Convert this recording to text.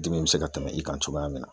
Dimi be se ka tɛmɛ i kan cogoya min na